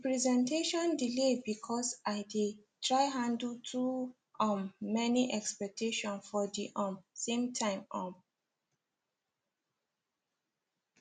the presentation delay because i dey try handle too um many expectations for the um same time um